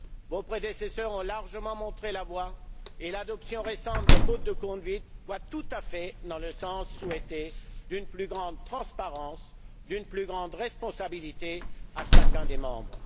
Vos prédécesseurs ont largement montré la voie et l'adoption récente d'un code de conduite va tout à fait dans le sens souhaité d'une plus grande transparence, d'une plus grande responsabilité de chacun des membres.